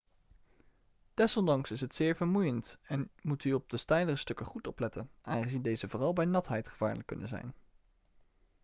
desondanks is het zeer vermoeiend en moet u op de steilere stukken goed opletten aangezien deze vooral bij natheid gevaarlijk kunnen zijn